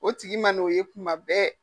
O tigi ma n' o ye kuma bɛɛ.